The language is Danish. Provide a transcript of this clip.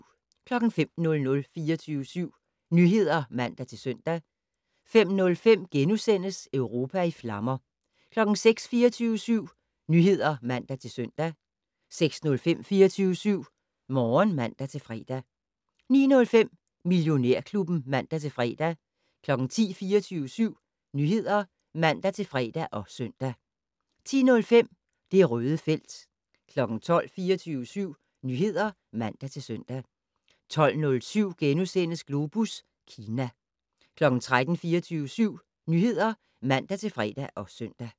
05:00: 24syv Nyheder (man-søn) 05:05: Europa i flammer * 06:00: 24syv Nyheder (man-søn) 06:05: 24syv Morgen (man-fre) 09:05: Millionærklubben (man-fre) 10:00: 24syv Nyheder (man-fre og søn) 10:05: Det Røde felt 12:00: 24syv Nyheder (man-søn) 12:07: Globus Kina * 13:00: 24syv Nyheder (man-fre og søn)